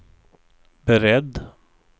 beredd